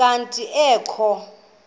kanti ee kho